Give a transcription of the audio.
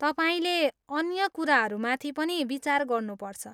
तपाईँले अन्य कुराहरूमाथि पनि विचार गर्नुपर्छ।